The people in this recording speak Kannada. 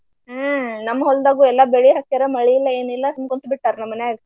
ಹ್ಮ ನಮ್ಮ ಹೊಲ್ದಾಗು ಎಲ್ಲ ಬೆಳಿ ಹಾಕ್ಯಾರ ಮಳಿ ಇಲ್ಲ ಏನಿಲ್ಲಾ ಸುಮ ಕುಂತ ಬಿಟ್ಟಾರ ನಮ್ಮ ಮನ್ಯಾಗ.